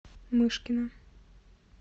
мышкина